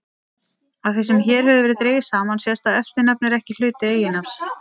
Af því sem hér hefur verið dregið saman sést að eftirnafn er ekki hluti eiginnafns.